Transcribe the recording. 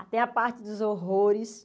Até a parte dos horrores